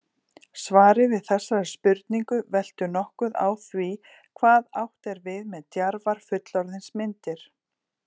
Svarið við þessari spurningu veltur nokkuð á því hvað átt er við með djarfar fullorðinsmyndir.